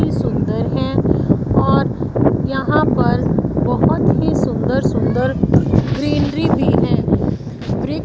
सुंदर हैं और यहां पर बहोत ही सुंदर-सुंदर ग्रीनरी भी हैं वृ --